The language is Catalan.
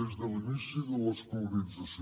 des de l’inici de l’escolarització